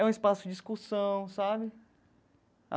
É um espaço de discussão, sabe?